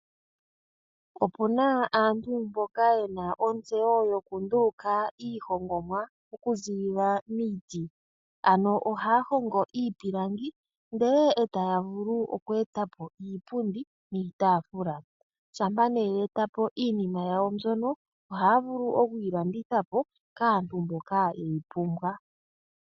Opuna aantu mboka yena ontseyo yokunduluka iihongomwa okuziilila miiti, ano ohaa hongo iipilangi ndele taya vulu okweeta po iipundi niitafula shampa, ihe ye eta po iinima yawo mbika ohaa vulu okuyi landitha po kaantu mboka yeyi pumbwa.